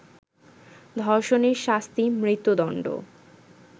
ধর্ষণের শাস্তি মৃত্যুদণ্ড